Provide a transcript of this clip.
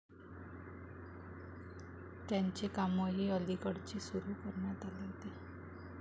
त्याचे कामही अलीकडेच सुरू करण्यात आले आहे.